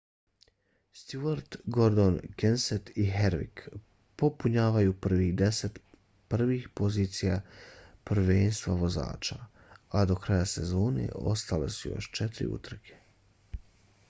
stewart gordon kenseth i harvick popunjavaju prvih deset prvih pozicija prvenstva vozača a do kraja sezone ostale su još četiri utrke